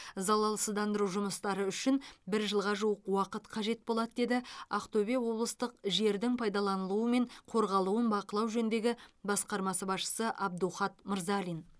залалсыздандыру жұмыстары үшін бір жылға жуық уақыт қажет болады деді ақтөбе облыстық жердің пайдаланылуы мен қорғалуын бақылау жөніндегі басқармасы басшысы абдухат мырзалин